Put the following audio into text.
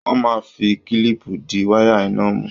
Wọ́n máa ń fi kílìpù di wáyà iná mú.